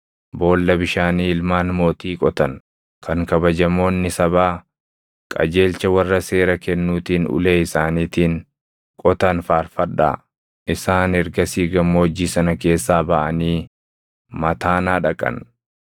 Boolla bishaanii ilmaan mootii qotan, kan kabajamoonni sabaa, qajeelcha warra seera kennuutiin ulee isaaniitiin qotan faarfadhaa.” Isaan ergasii gammoojjii sana keessaa baʼanii Mataanaa dhaqan;